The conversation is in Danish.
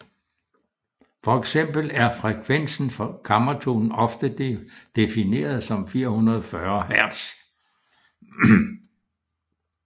For eksempel er frekvensen for kammertonen ofte defineret til 440 hertz